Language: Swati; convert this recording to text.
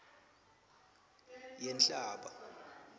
yenhlaba